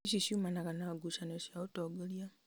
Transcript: ici ciumanaga na ngucanio cia ũtongoria